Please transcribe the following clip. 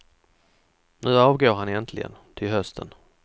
Nu avgår han äntligen, till hösten.